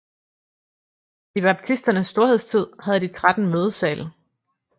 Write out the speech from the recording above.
I baptisternes storhedstid havde de 13 mødesale